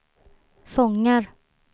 fångar